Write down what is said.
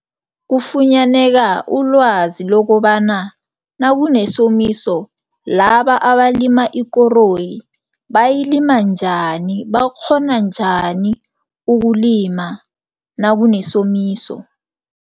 Kufunyaneka ulwazi lokobana nakunesomiso, laba abalima ikoroyi bayalima njani, bakghona njani ukulima nakunesomiso.